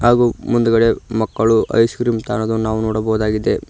ಹಾಗು ಮುಂದ್ಗಡೆ ಮಕ್ಕಳು ಐಸ್ ಕ್ರೀಮ್ ತಾಳೋದನ್ನು ನಾವು ನೋಡಬಹುದಾಗಿದೆ.